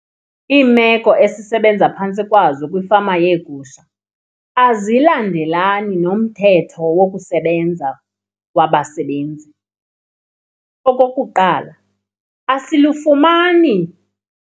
Imeko esisebenza phantsi kwazo kwiifama yegusha azilandelelani nomthetho wokusebenza wabasebenzi. Okokuqala asilufumani.